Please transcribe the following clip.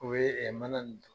O bɛ mana ni d